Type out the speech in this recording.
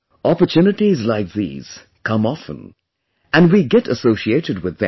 Opportunities like these come often & we get associated with them